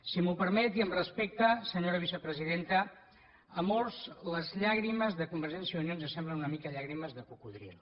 si m’ho permet i amb respecte senyora vicepresidenta a molts les llàgrimes de convergència i unió ens semblen una mica llàgrimes de cocodril